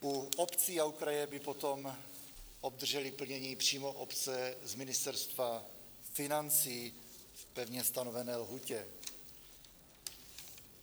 U obcí a u kraje by potom obdržely plnění přímo obce z Ministerstva financí v pevně stanovené lhůtě.